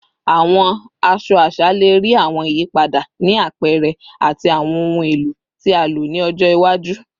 Awọn aṣọ aṣa le rii awọn iyipada ni apẹrẹ ati awọn ohun elo ti a lo ni ọjọ iwaju